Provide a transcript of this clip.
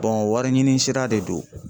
wari ɲini sira de do.